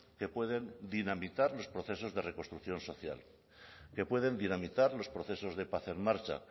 que pueden dinamitar los procesos de reconstrucción social que puede dinamitar los procesos de paz en marcha